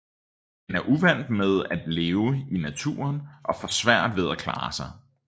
Den er uvant med at leve i naturen og får svært ved at klare sig